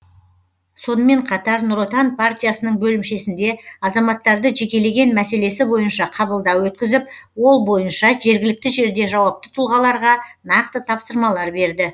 сонымен қатар нұр отан партиясының бөлімшесінде азаматтарды жекелеген мәселесі бойынша қабылдау өткізіп ол бойынша жергілікті жерде жауапты тұлғаларға нақты тапсырмалар берді